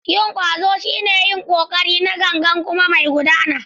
Yin ƙwazo shine yin ƙoƙari na gangan kuma mai gudana.